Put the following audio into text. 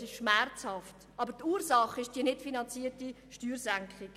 Er ist schmerzhaft, aber die Ursache ist die nichtfinanzierte Steuersenkung.